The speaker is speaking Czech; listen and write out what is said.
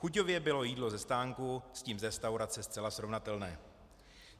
Chuťově bylo jídlo ze stánku s tím z restaurace zcela srovnatelné.